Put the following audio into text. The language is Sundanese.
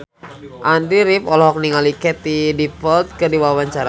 Andy rif olohok ningali Katie Dippold keur diwawancara